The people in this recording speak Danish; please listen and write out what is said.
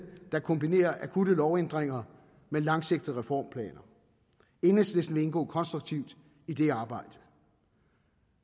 der kombinerer akutte lovændringer med langsigtede reformplaner enhedslisten vil indgå konstruktivt i det arbejde